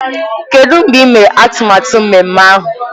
Kedụ mgbe ị mere atụmatụ ememme ahụ?